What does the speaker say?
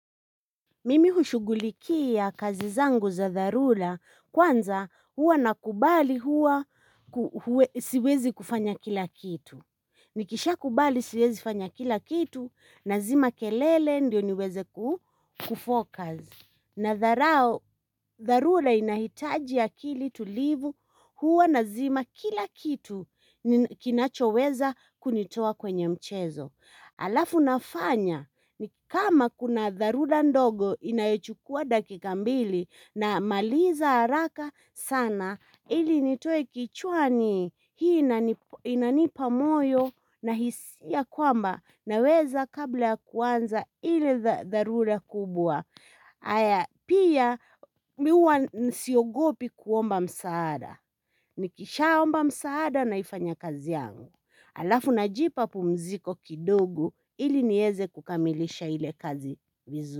Mimi hushugulikia kazi zangu za dharura kwanza huwa nakubali huwa siwezi kufanya kila kitu. Nikisha kubali siwezi kufanya kila kitu nazima kelele ndio niweze ku focus. Nadharao, dharura inahitaji akili tulivu huwa nazima kila kitu kinachoweza kunitoa kwenye mchezo. Halafu nafanya ni kama kuna dharura ndogo inayechukua dakika mbili namaliza haraka sana ili nitoe kichwani hii inanipa moyo na hisia kwamba naweza kabla kuanza ile dharura kubwa. Haya pia mimi huwa siogopi kuomba msaada Nikishaomba msaada naifanya kazi yangu halafu najipa pumziko kidogo ili niweze kukamilisha ile kazi vizu.